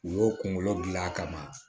U y'o kunkolo gilan a kama